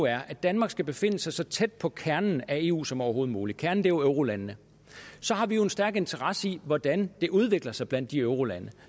er at danmark skal befinde sig så tæt på kernen af eu som overhovedet muligt kernen er jo eurolandene har vi en stærk interesse i hvordan det udvikler sig blandt de eurolande